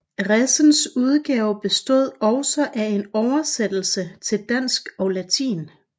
Resens udgave bestod også af en oversættelse til dansk og latin